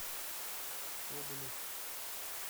соболев